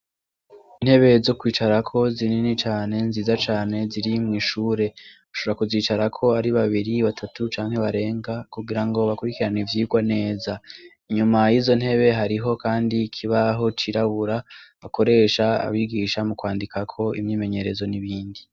Intebe zo kwicarako zinini cane, nziza cane ziri mw'ishure, bashobora kuzicarako ari:babiri ,batatu ,canke barenga kugira ngo bakurikirane ivyigwa neza, inyuma y'izo ntebe hariho kandi kibaho cirabura bakoresha abigisha mu kwandikako imyimenyerezo n'ibindi.